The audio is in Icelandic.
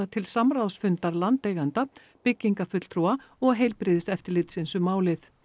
til samráðsfundar landeiganda byggingafulltrúa og heilbrigðiseftirlitsins um málið